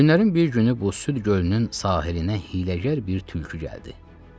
Günlərin bir günü bu süd gölünün sahilinə hiləgər bir tülkü gəldi.